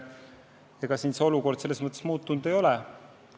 Selles mõttes olukord muutunud ei ole.